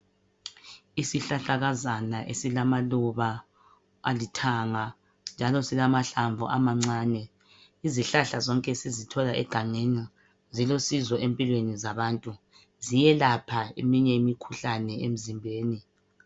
Isihlahlakazana esilamaluba alithanga. Njalo silamahlamvu amancane. lzihlahla zonke sizithola egangeni. Zilusizo empilweni zabantu. Ziyelapha eminye imikhuhlane emzimbeni.